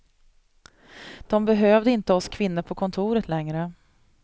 De behövde inte oss kvinnor på kontoret längre.